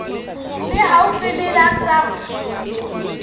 le haufi le la sars